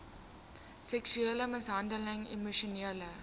seksuele mishandeling emosionele